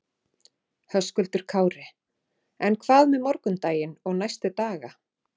Höskuldur Kári: En hvað með morgundaginn og næstu daga?